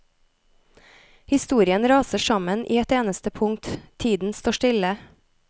Historien raser sammen i et eneste punkt, tiden står stille.